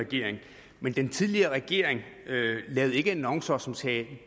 regering men den tidligere regering lavede ikke annoncer som sagde